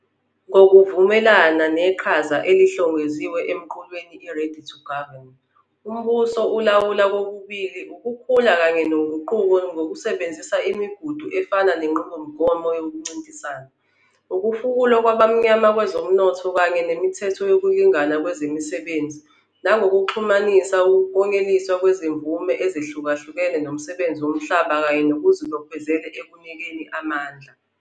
Ngokuvumelana neqhaza elihlongoziwe emqulwini i-'Ready to Govern', umbuso ulawula kokubili ukukhula kanye noguquko ngokusebenzisa imigudu efana nenqubomgomo yokuncintisana, ukufukulwa kwabamnyama kwezomnotho kanye nemithetho yokulingana kwezemisebenzi, nangokuxhumanisa ukuklonyeliswa kwezimvume ezihlukahlukene nomsebenzi womhlaba wonke kanye nokuzibophezela ekunikeni amandla.